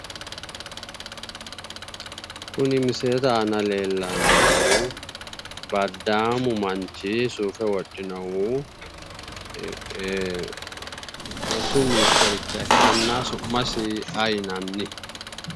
Kuni misilete aana leellannohu baddaamu manchi suufe uddirinohu rosu ministericha ikkanna su'masi ayi yinanni?